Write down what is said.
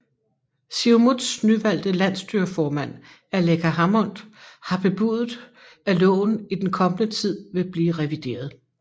Siumuts nyvalgte landsstyreformand Aleqa Hammond har bebudet at loven i den kommende tid vil blive revideret